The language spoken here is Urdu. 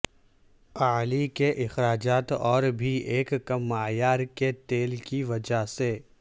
اعلی کے اخراجات اور بھی ایک کم معیار کے تیل کی وجہ سے